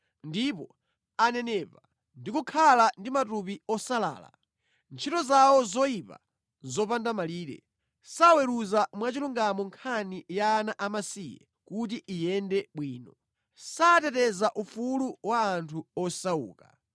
Ndipo ananenepa ndi kukhala ndi matupi osalala. Ntchito zawo zoyipa nʼzopanda malire; saweruza mwachilungamo nkhani ya ana amasiye kuti iyende bwino, sateteza ufulu wa anthu osauka.